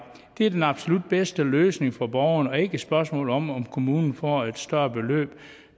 det er den absolut bedste løsning for borgeren og ikke et spørgsmål om om kommunen får et større beløb